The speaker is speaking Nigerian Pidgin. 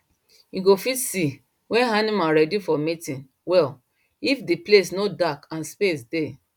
you go fit see when animal ready for mating well if the place no dark and space dey